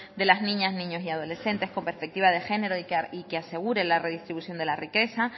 de las niñas niños y adolescentes con perspectivas de género y que asegure la redistribución de la riqueza